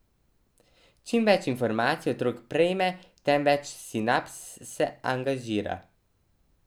Čim več informacij otrok prejme, tem več sinaps se angažira.